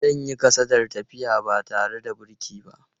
Zan yi kasadar tafiya ba tare da birki ba.